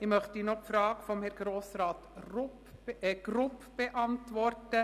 Ich möchte noch die Frage von Grossrat Grupp beantworten.